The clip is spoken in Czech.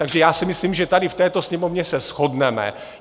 Takže já si myslím, že tady v této Sněmovně se shodneme.